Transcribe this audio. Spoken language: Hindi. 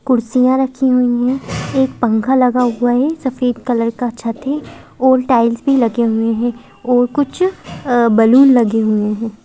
कुर्सियां रखी हुई हैं एक पंखा लगा हुआ है सफेद कलर का छत है ओल्ड टाइल्स भी लगे हुए हैं और कुछ बलून लगे हुए हैं।